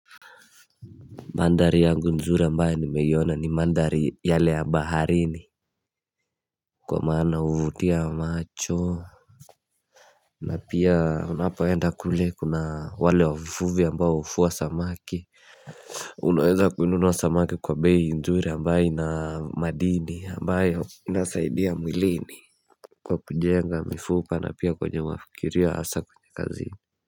Mandhari yangu nzuri ambaye ni meyona ni mandari yale ya baharini Kwa maana uvutia macho na pia unapawenda kule kuna wale wavuvi ambayo uvuwa samaki Unaweza kununua samaki kwa beii nzuri ambaye na madini ambaye inasaidia mwilini Kwa kujenga mifupa na pia kwenye wafikiria asa kwenye kazi.